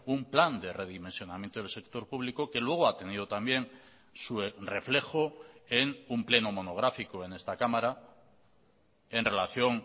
un plan de redimensionamiento del sector público que luego ha tenido también su reflejo en un pleno monográfico en esta cámara en relación